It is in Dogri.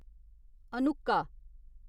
हनुक्का